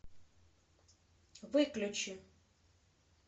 выключи